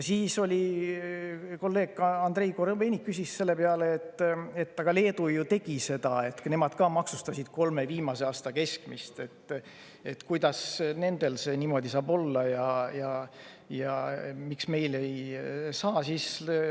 Kolleeg Andrei Korobeinik küsis selle peale, et aga Leedu ju tegi seda, nemad ka maksustasid kolme viimase aasta keskmist, kuidas nendel see niimoodi saab olla ja miks meil ei saa.